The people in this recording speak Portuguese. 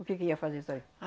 O que que ia fazer só eu